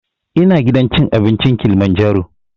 Ina gidan cin abinci kilimanjaro